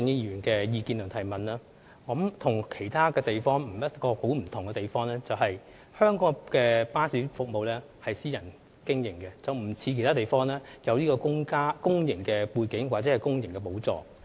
有別於其他地方，香港的巴士服務屬私人營運，不像其他地方的巴士公司，具有公營背景或由公帑補助。